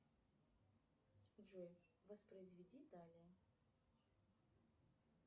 джой воспроизведи даля